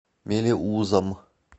мелеузом